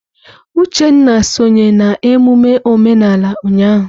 Uchenna sonye na emume omenala ụnyahụ.